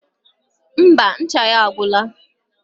Ḿbà, ncha ya agwora